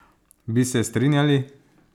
Bi se strinjali?